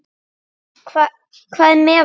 Hvað er með hann?